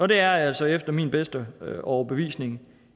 det er altså efter min bedste overbevisning